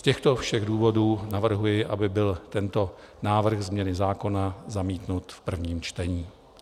Z těchto všech důvodů navrhuji, aby byl tento návrh změny zákona zamítnut v prvním čtení.